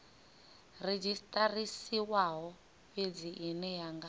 redzhisiṱarisiwaho fhedzi ine ya nga